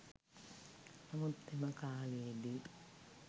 නමුත් එම කාලයේදී